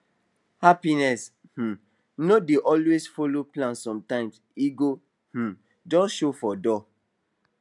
happiness um no dey always follow plan sometimes e go um just show for door